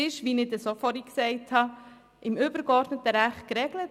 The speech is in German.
Diese sind, wie ich bereits gesagt habe, im übergeordneten Recht geregelt: